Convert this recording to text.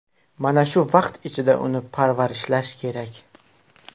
Mana shu vaqt ichida uni parvarishlash kerak.